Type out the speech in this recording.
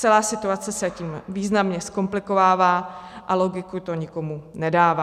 Celá situace se tím významně zkomplikovává a logiku to nikomu nedává.